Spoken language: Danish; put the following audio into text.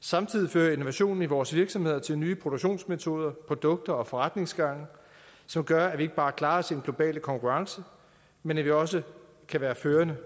samtidig fører innovationen i vores virksomheder til nye produktionsmetoder produkter og forretningsgange som gør at vi ikke bare klarer os i den globale konkurrence men at vi også kan være førende